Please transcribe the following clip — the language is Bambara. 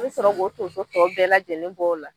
I be sɔrɔ k'o tonso tɔ bɛɛ lajɛlen bɔ o la